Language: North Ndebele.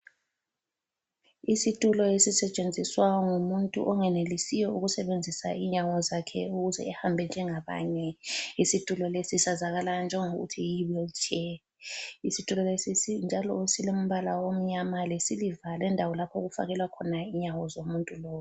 Isitulo esisetshenziswa ngumuntu ongenelisiyo ukusebenzisa inyawo zakhe ukuze ahambe njengabanye. Isitulo leso sazakala njengokuthi yiwili tshe. Isitulo leso njalo silombala omnyama lesiliva njalo lendawo yokufakela inyawo zomuntu lowo.